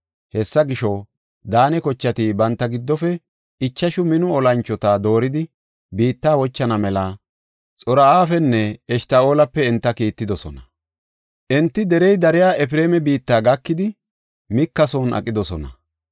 Hessa gisho, Daane kochati banta giddofe ichashu mino olanchota dooridi biitta wochana mela Xor7afenne Eshta7oolape enta kiittidosona. Enti derey dariya Efreema biitta gakidi Mika son aqidosona.